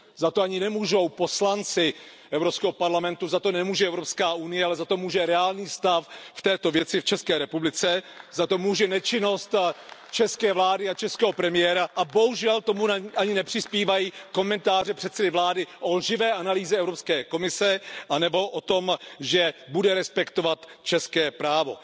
Za to ani nemůžou poslanci Evropského parlamentu, za to nemůže Evropská unie, ale za to může reálný stav v této věci v České republice, za to může nečinnost české vlády a českého premiéra a bohužel tomu ani nepřispívají komentáře předsedy vlády o lživé analýze Evropské komise nebo o tom, že bude respektovat české právo.